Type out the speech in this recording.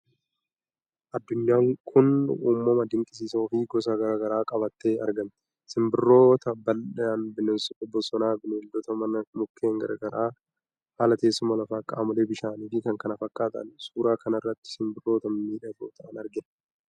Addunyaan kun uumama dinqisiisoo fi gosa gara garaa qabattee argamti. Simbirroota balali'an, bineensota bosonaa, bineeldota manaa, mukkeen gara garaa, haala teessuma lafaa, qaamolee bishaanii fi kan kana fakkaatan. Suuraa kanarratti Simbirroota mimmiidhagoo ta'an argina.